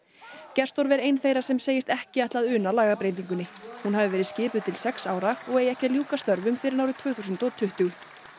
gersdorf er ein þeirra sem segist ekki ætla að una lagabreytingunni hún hafi verið skipuð til sex ára og eigi ekki að ljúka störfum fyrr en árið tvö þúsund og tuttugu